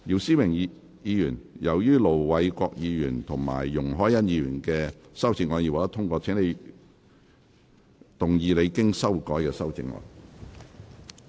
姚思榮議員，由於盧偉國議員及容海恩議員的修正案已獲得通過，請動議你經修改的修正案。